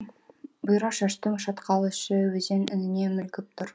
бұйра шашты шатқал іші өзен үніне мүлгіп тұр